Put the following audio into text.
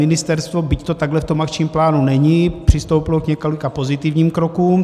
Ministerstvo, byť to takhle v tom akčním plánu není, přistoupilo k několika pozitivním krokům.